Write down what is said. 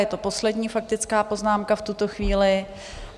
Je to poslední faktická poznámka v tuto chvíli.